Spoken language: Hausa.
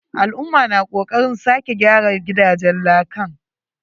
Al'umma na kokaren sake gyara gidajen lakan.